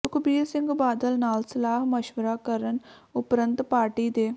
ਸੁਖਬੀਰ ਸਿੰਘ ਬਾਦਲ ਨਾਲ ਸਲਾਹ ਮਸ਼ਵਰਾ ਕਰਨ ਉਪਰੰਤ ਪਾਰਟੀ ਦੇ